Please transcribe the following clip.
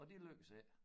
Og det lykkedes ikke